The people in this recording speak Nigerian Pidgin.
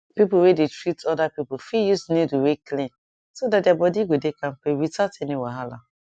people wey dey treat other people fit use needle wey clean so that their that their body go dey kampe without any wahala